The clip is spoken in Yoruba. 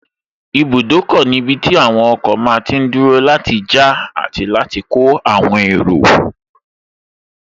Ibùdókọ̀ ní ibi tí àwọn ọkọ̀ máa tí n dúró láti já àti láti kó àwọn èrò